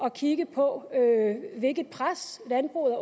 at kigge på hvilket pres landbruget